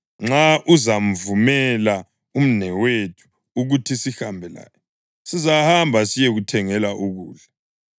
Nxa uzamvumela umnawethu ukuthi sihambe laye, sizahamba siyekuthengela ukudla.